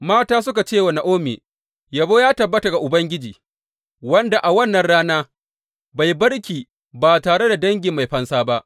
Mata suka ce wa Na’omi, Yabo ya tabbata ga Ubangiji, wanda a wannan rana bai bar ki ba tare da dangi mai fansa ba.